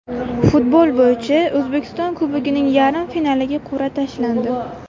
Futbol bo‘yicha O‘zbekiston Kubogining yarim finaliga qur’a tashlandi.